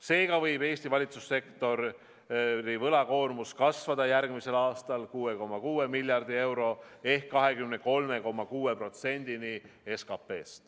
Seega võib Eesti valitsussektori võlakoormus kasvada järgmisel aastal 6,6 miljardi euro ehk 23,6%-ni SKP-st.